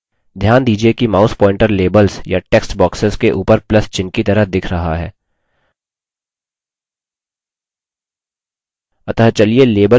ध्यान दीजिये कि mouse pointer labels या text boxes के उपर plus चिह्न की तरह दिख रहा है